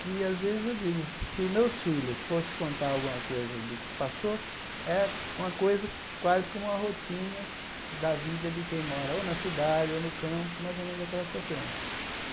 que, às vezes, eu digo, se os meus filhos fossem contar alguma coisa do que passou, é uma coisa quase como uma rotina da vida de quem mora ou na cidade ou no campo, mais ou menos aquela sequência.